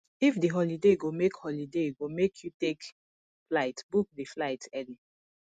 if di holiday go make holiday go make you take flight book di flight early